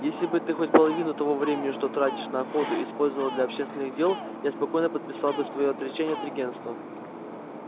если бы ты хоть половину того времени что тратишь на охоту использовал для общественных дел я спокойно подписал бы своё отречение от регентства